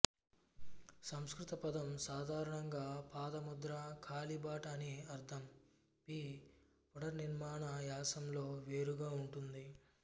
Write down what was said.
సంస్కృత పదం సాధారణంగా పాదముద్ర కాలిబాట అని అర్ధం పీ పునర్నిర్మాణ యాసలో వేరుగా ఉంటుంది